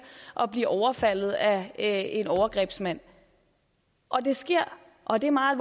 at blive overfaldet af en overgrebsmand og det sker og det er meget